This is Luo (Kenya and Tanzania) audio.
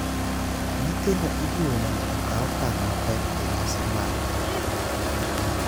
Nyithindo ijiwo mondo okaw okang’ mapek e nyasi mag oganda.